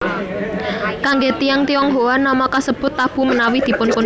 Kangge tiyang Tionghoa nama kasebut tabu menawi dipunsebut